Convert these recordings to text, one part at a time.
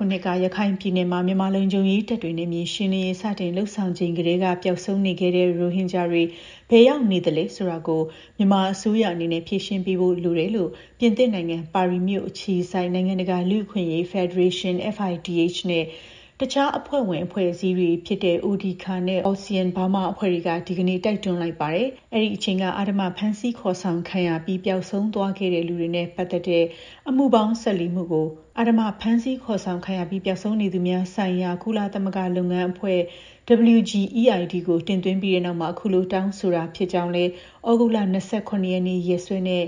ခုနှစ်က ရခိုင်ပြည်နယ်မှာ မြန်မာလုံခြုံရေးတပ်တွေ နယ်မြေ ရှင်းလင်းရေး စတင်လုပ်ဆောင်ချိန်ကတည်းက ပျောက်ဆုံးနေခဲ့တဲ့ ရိုဟင်ဂျာတွေ ဘယ်ရောက်နေသလဲဆိုတာကို မြန်မာ အစိုးရအနေနဲ့ ဖြေရှင်းပေးဖို့ လိုတယ်လို့ ပြင်သစ်နိုင်ငံ၊ ပါရီမြို့ အခြေစိုက် နိုင်ငံတကာ လူ့အခွင့်အရေး ဖက်ဒရေးရှင်း FIDH နဲ့ တခြားအဖွဲ့ဝင်အဖွဲ့အစည်းတွေဖြစ်ကြတဲ့ Odhikar နဲ့ ALTSEAN Burma အဖွဲ့တွေက ဒီကနေ့ တိုက်တွန်းလိုက်ပါတယ်။ အဲဒီအချိန်က အဓမ္မ ဖမ်းဆီးခေါ်ဆောင်ခံရပြီး ပျောက်ဆုံးသွားတဲ့လူတွေနဲ့ ပတ်သက်တဲ့ အမှုပေါင်း ၁၄ မှုကို အဓမ္မ ဖမ်းဆီးခေါ်ဆောင်ခံရပြီး ပျောက်ဆုံးနေသူများဆိုင်ရာ ကုလသမဂ္ဂလုပ်ငန်းအဖွဲ့ (WGEID) ကို တင်သွင်းပြီးတဲ့နောက်မှာ အခုလို တောင်းဆိုရတာဖြစ်တယ်လို့လည်း ဩဂုတ်လ ၂၇ ရက်နေ့ ရက်စွဲနဲ့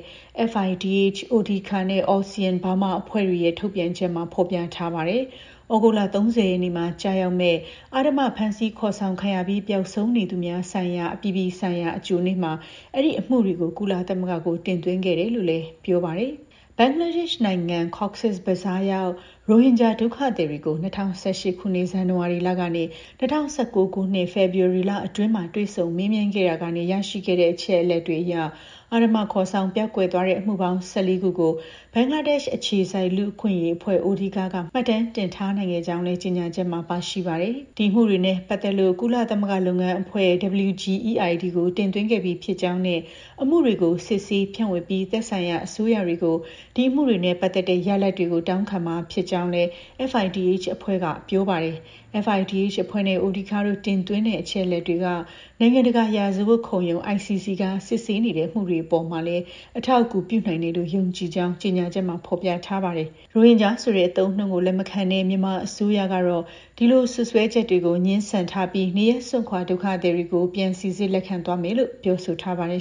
FIDH Odhikar နဲ့ ALTSEAN Burma အဖွဲ့တွေရဲ့ ထုတ်ပြန်ချက်မှာ ဖော်ပြထားပါတယ်။ ဩဂုတ်လ ၃၀ ရက်နေ့မှာ ကျရောက်မယ့် အဓမ္မ ဖမ်းဆီးခေါ်ဆောင်ခံရပြီး ပျောက်ဆုံးသွားသူများ ဆိုင်ရာ အပြည်ပြည်ဆိုင်ရာနေ့ အကြိုမှာ အဲဒီ အမှုတွေကို ကုလသမဂ္ဂကို တင်သွင်းခဲ့တယ်လို့လည်း ပြောပါတယ်။ ဘင်္ဂလားဒေ့ရှ်နိုင်ငံ Cox’s Bazar ရောက် ရိုဟင်ဂျာ ဒုက္ခသည်တွေကို ၂၀၁၈ ခုနှစ် ဇန်နဝါရီလကနေ ၂၀၁၉ ခုနှစ် ဖေဖော်ဝါရီလအတွင်း တွေ့ဆုံမေးမြန်းခဲ့တာက နေရရှိခဲ့တဲ့ အချက်အလက်တွေအရ အဓမ္မ ခေါ် ဆောင် ပျောက်ကွယ်သွားတဲ့ အမှုပေါင်း ၁၄ ခုကို ဘင်္ဂလားဒေ့ရှ်အခြေစိုက် လူ့အခွင့်အရေးအဖွဲ့ Odhikar က မှတ်တမ်းတင် ထားနိုင်ခဲ့ကြောင်းလည်း ကြေညာချက်မှာ ပါရှိပါတယ်။ ဒီ အမှုတွေနဲ့ ပတ်သက်လို့ WGEID ကို တင်သွင်းခဲ့ပြီးဖြစ်ကြောင်းနဲ့ အမှုတွေကို စစ်ဆေး၊ ဖြန့်ဝေပြီး သက်ဆိုင်ရာ အစိုးရတွေဆီကို ဒီအမှုတွေနဲ့ပတ်သက်တဲ့ ရလဒ်တွေကို တောင်းခံမှာ ဖြစ်ကြောင်းလည်း FIDH အဖွဲ့က ပြောပါတယ်။ FIDH အဖွဲ့နဲ့ Odhikar တို့ တင်သွင်းတဲ့ အချက်အလက်တွေက နိုင်ငံတကာ ရာဇဝတ်ခုံရုံး (ICC) က စစ်ဆေးနေတဲ့ အမှုတွေအပေါ်မှာလည်း အထောက်အကူ ပြုနိုင်တယ်လို့ ယုံကြည်ကြောင်းလည်း ကြေညာချက်မှာ ဖော်ပြထားပါတယ်။ ရိုဟင်ဂျာဆိုတဲ့အသုံးအနှုန်းကို လက်မခံတဲ့ မြန်မာအစိုးရက ဒီလို စွပ်စွဲချက်တွေကို ငြင်းဆန်ထားပြီး၊ နေရပ်စွန့်ခွာ ဒုက္ခသည်တွေကို ပြန်စိစစ်လက်ခံသွားမယ်လို့ ပြောဆိုထားပါတယ်